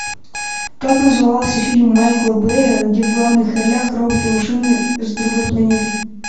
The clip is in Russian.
как назывался фильм майкла бэя где в главных ролях роботы машины с другой планеты